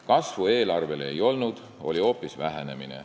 Kasvu ei olnud, oli hoopis vähenemine.